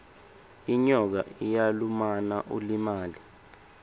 inyoka iyalumana ulimale